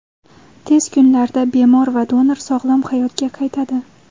Tez kunlarda bemor va donor sog‘lom hayotga qaytadi.